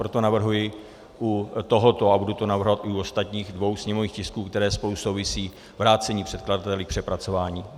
Proto navrhuji u tohoto, a budu to navrhovat i u ostatních dvou sněmovních tisků, které spolu souvisí, vrácení předkladateli k přepracování.